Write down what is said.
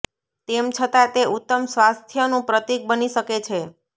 તેમ છતાં તે ઉત્તમ સ્વાસ્થ્યનું પ્રતીક બની શકે છે